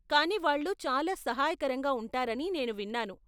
కానీ వాళ్ళు చాలా సహాయకరంగా ఉంటారని నేను విన్నాను.